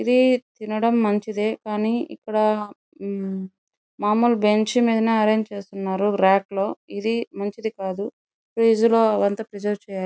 ఇది తినడం మంచిదే కానీ ఇక్కడ మామూలుగా బెంచ్ అరేంజ్ చేస్తున్నారు రాకు లో ఇది మంచిది కాదు ఫ్రిడ్జ్ లో అది అంత ప్రెసెర్వె చెయ్యాలి --